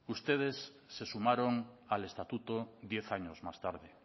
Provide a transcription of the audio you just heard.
ustedes se sumaron al estatuto diez años más tarde